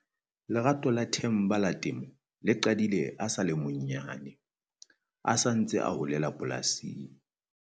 Lerato la Themba la temo le qadile a sa le monyane, a sa ntse a holela polasing.